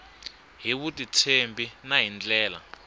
hi vutitshembi na hi ndlela